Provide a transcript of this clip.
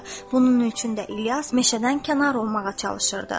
Bunun üçün də İlyas meşədən kənar olmağa çalışırdı.